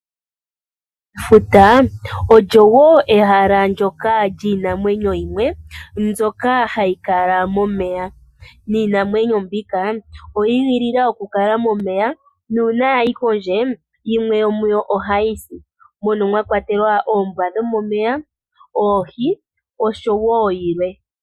Efuta olyo wo ehala lyiinamwenyo yimwe mbyoka hayi kala momeya, niinamwenyo mbika oyi igilila okukala momeya nuuna ya yi kondje yimwe yomuyo ohayi si. Mono mwa kwatelwa oombwa dhomomeya, oohi nayilwe.